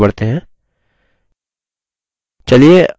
ठीक है आगे बढ़ते हैं